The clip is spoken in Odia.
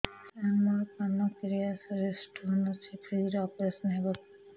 ସାର ମୋର ପାନକ୍ରିଆସ ରେ ସ୍ଟୋନ ଅଛି ଫ୍ରି ରେ ଅପେରସନ ହେବ କି